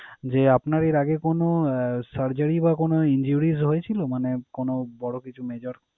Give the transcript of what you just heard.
যে আপনার এর আগে কোন আহ surgery বা injuries হয়েছিলো মানে কোন বড় কিছু mejor?